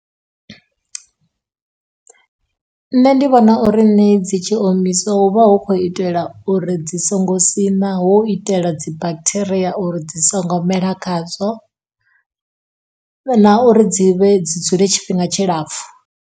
Nṋe ndi vhona uri ṋie dzi tshi omisiwa hu vha hu khou itela uri dzi songo siṋa ho itela dzi bakhitheria uri dzi songo mela khadzo, na uri dzi vhe dzule tshifhinga tshilapfhu.